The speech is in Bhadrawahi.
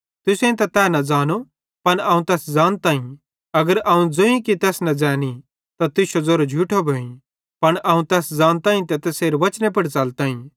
तुसेईं त तै न ज़ानो पन अवं तैस ज़ानताईं अगर अवं ज़ोईं कि तैस न ज़ैनी त तुश्शो ज़ेरो झूठो भोइ पन अवं तैस ज़ानताईं ते तैसेरे वचने पुड़ च़लताईं